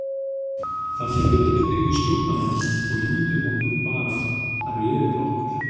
Þar með réðum við yfir stjórnandanum og ímynduðum okkur bara að réði yfir okkur.